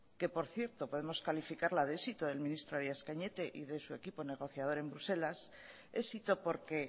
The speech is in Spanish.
que por cierto podemos calificarla de éxito del ministro arias cañete y de su equipo negociador en bruselas éxito porque